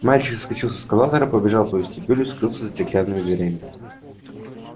мальчик соскочил с эскалатора пробежал по вестибюлю скрылся за стеклянными дверями